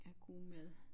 Af god mad